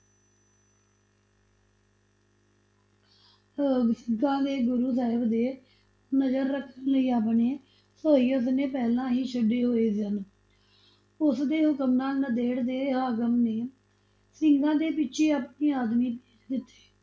ਅਹ ਸਿਖਾਂ ਤੇ ਗੁਰੂ ਸਾਹਿਬ ਤੇ ਨਜਰ ਰਖਣ ਲਈ ਆਪਣੇ ਸੁਹੀਏ ਉਸਨੇ ਪਹਿਲਾਂ ਹੀ ਛੱਡੇ ਹੋਏ ਸਨ, ਉਸਦੇ ਹੁਕਮ ਨਾਲ ਨੰਦੇੜ ਦੇ ਹਾਕਮ ਨੇ ਸਿੰਘਾਂ ਦੇ ਪਿੱਛੇ ਆਪਣੇ ਆਦਮੀ ਭੇਜ ਦਿੱਤੇ,